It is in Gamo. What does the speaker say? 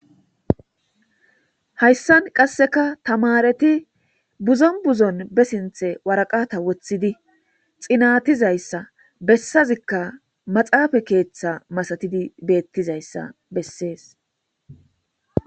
Hayssan qasseka tamaareti buzon buzon be sinththe waraqata woththidi xiinatizayssa bessazika maxafe keeththa masatidi bettizaysa bessees .